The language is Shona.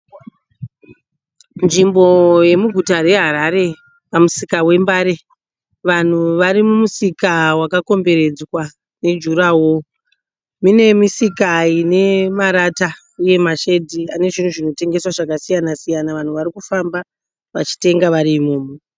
Nzvimbo yemuguta reHarare pamusika wembare. Vanhu varimumusika wakakomberedzwa nejuraho. Mune misika ine marata uye mashedhi ane zvinhu zvinotengeswa zvinhu zvakasiyana siyana. Vanhu varikufamba vachitenga vari imomo.